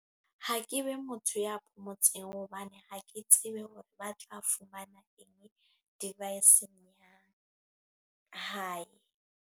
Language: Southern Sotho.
Ha ke be motho ya phomotseng. Hobane, ha ke tsebe hore ba tla fumana eng, device-ng ya hae.